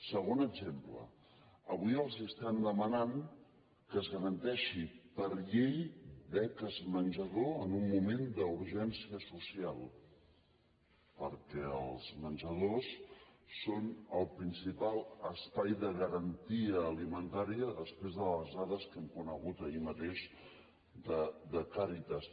segon exemple avui els estem demanant que es garanteixin per llei beques menjador en un moment d’urgència social perquè els menjadors són el principal espai de garantia alimentària després de les dades que vam conèixer ahir mateix de càritas